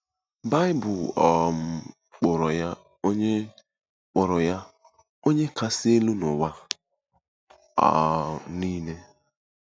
Baịbụl um kpọrọ ya “Onye kpọrọ ya “Onye Kasị Elu n’ụwa um niile.”